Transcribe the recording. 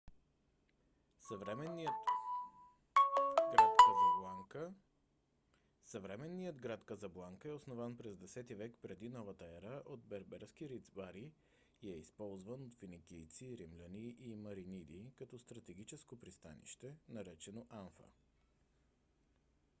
съвременният град казабланка е основан през 10-ти век пр.н.е. от берберски рибари и е използван от финикийци римляни и мариниди като стратегическо пристанище наречено анфа